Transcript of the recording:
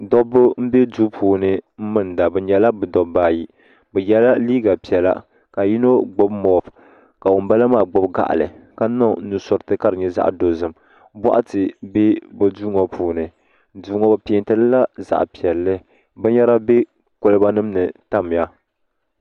Dobbi m-be duu puuni m-minda bɛ nyɛla bɛ dobba ayi bɛ yela liiga piɛla ka yino gbubi mɔpi ka yino gbubi gaɣili ka niŋ nusuriti ka di nyɛ zaɣ'dozim bɔɣati be bɛ duu ŋɔ puuni duu ŋɔ bɛ peenti li la zaɣ'piɛlli binyɛra be kolibanima ni tamya.